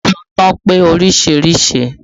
Ọgbọ́n ìsọ̀tàn pé oríṣiríṣi